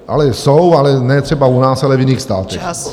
Ale jsou, ale ne třeba u nás, ale v jiných státech.